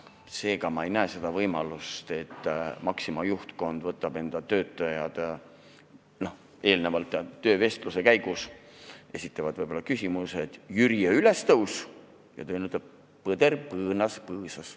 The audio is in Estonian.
Seega, ma ei näe seda võimalust, et Maxima juhtkond võtab tööle töötajaid, kellele eelnevalt töövestluse käigus on võib-olla esitatud küsimus jüriöö ülestõusu kohta, aga vastuseks on saadud, et põder põõnas põõsas.